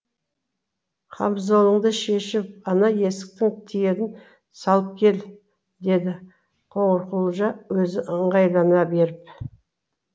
қамзолыңды шешіп ана есіктің тиегін салып кел деді қоңырқұлжа өзі ыңғайлана беріп